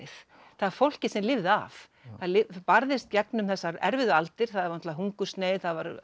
það er fólkið sem lifði af það barðist gegnum þessar erfiðu aldir hungursneyð